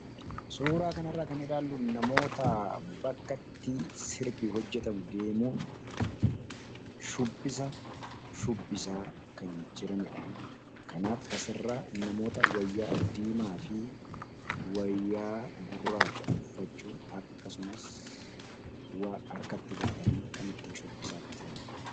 Suuraa kanirraa kan ilaallu namoota bakkatti sirbii hojjetamu deemuun shubbisa shubbisaa kan jiranidha. Kanaaf asirra namoota wayyaa diimaa fi wayyaa guraacha uffachuun akkasumas harkatti baatanii kan ittiin shubbisaa jiranidha.